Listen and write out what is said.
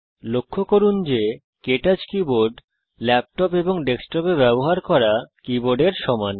লক্ষ্য করুন যে কে টচ কীবোর্ড ল্যাপটপ এবং ডেস্কটপে ব্যবহার করা কীবোর্ডের সমান